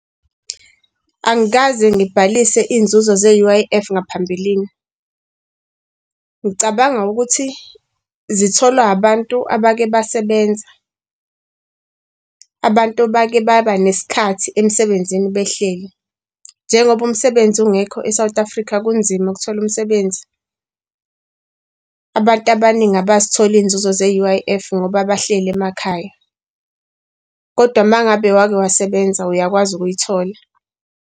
Angikaze ngibhalise iy'nzuzo ze-U_I_F ngaphambilini. Ngicabanga ukuthi zitholwa abantu abake basebenza, abantu bake babanesikhathi emsebenzini behleli. Njengoba umsebenzi ungekho eSouth Africa, kunzima ukuthola umsebenzi. Abantu abaningi abazithola iy'nzuzo ze-U_I_F, ngoba bahleli emakhaya. Kodwa uma ngabe wake wasebenza uyakwazi ukuyithola.